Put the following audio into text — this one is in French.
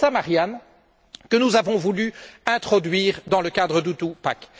C'est cela, Marianne, que nous avons voulu introduire dans le cadre du two pack